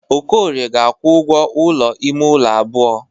Okorie ga-akwụ ụgwọ ụlọ ime ụlọ abụọ.